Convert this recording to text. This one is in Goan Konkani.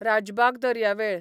राजबाग दर्यावेळ